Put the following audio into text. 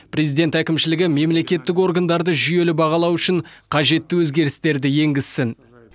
президент әкімшілігі мемлекеттік органдарды жүйелі бағалау үшін қажетті өзгерістерді енгізсін